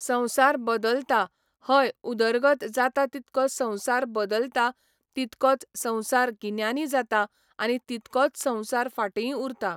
संवसार बदलता हय उदरगत जाता तितको संवसार बदलता तितकोच संवसार गिन्यानी जाता आनी तितकोच संवसार फाटींय उरतां